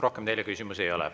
Rohkem teile küsimusi ei ole.